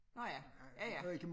Nåh ja ja ja